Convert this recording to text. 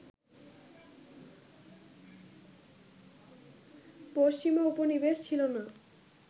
পশ্চিমা উপনিবেশ ছিল না